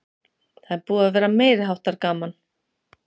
Það er búið að vera meiriháttar gaman!